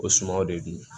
O sumaw de don